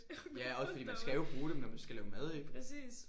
Ja også fordi man skal jo bruge dem når man skal lave mad ik